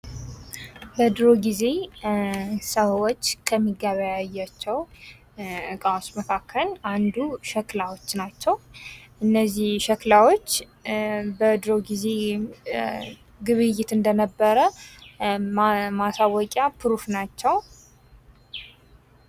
በድሩ ጊዜ ሰዎች ከሚገበያያቸው እቃዎች መካከል አንዱ ሸክላዎች ናቸው ።እነዚህ ሸክላዎች በድሮ ጊዜ ግብይት እንደነበረ ማሳወቂያ ፕሩፍ ናቸው ።